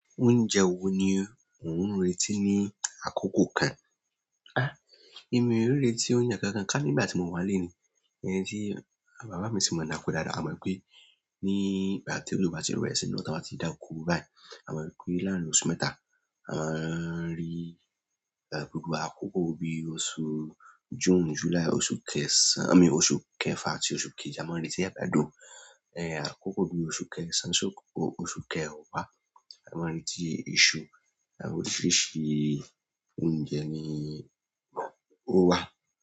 Oúnjẹ wo ni ò ń retí ní àkókò kan? Àh, èmi e retí oúnjẹ kankan ká nígbà tí mò wà nlè ní, èní tí bàbá mi sì máa ń dako dáadáa. A mọ̀ ipé ní ìgbà tí ojo bá ti bere si i rọ̀ ta a bá ti dá oko báyiì, a mọ̀ wipé láàárín oṣù mẹ́ta, a maa n rí gbogbo àkókò bí i oṣù June, July, oṣù kẹsàn-àn, i mean òṣù kẹfà àti oṣù keje, a mọ̀ n retí àgbàdo. Àkókò bí i oṣù kẹsàn-án si oṣù kẹwàá, a mọ̀ n retí isu, àwọn oríṣiríṣi oúnjẹ ni ó wà.